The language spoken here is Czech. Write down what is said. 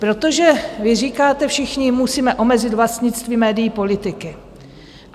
Protože vy říkáte všichni: Musíme omezit vlastnictví médií politiky.